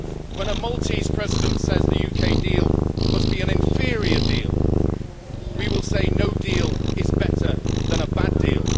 When a Maltese President says the UK deal must be an inferior deal, we will say no deal is better than a bad deal.